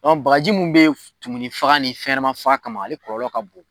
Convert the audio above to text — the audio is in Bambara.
bakaji mun be tumun faga ni fɛnɲanama faga kama, ale kɔlɔlɔlɔ ka bon.